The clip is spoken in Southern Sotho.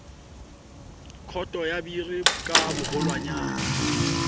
khoto ya biri ka boholwanyane